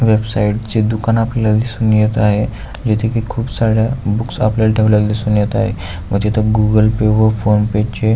website चे दुकान आपल्याला दिसून येत आहे जेथे कि खूप साऱ्या बुक्स आपल्याला ठेवलेल्या दिसून येत आहे व तिथ गूगल-पे व फोन-पे चे--